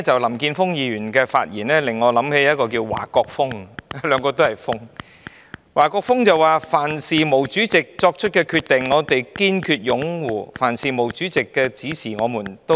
林健鋒議員剛才的發言令我想起華國鋒——碰巧兩位均是以"鋒"字命名——華國鋒曾說：凡是毛主席作出的決定，我們堅決擁護；凡是毛主席的指示，我們也......